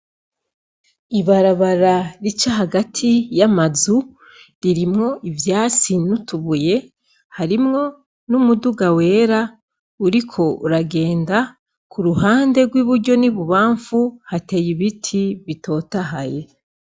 Ibarabara rica hagati y'amazu harimwo ivyatsi n'utubuye, harimwo n'umuduga wera uriko uragenda, k'uruhande rw'iburyo n'ibubamfu hateye ibiti bitotahaye.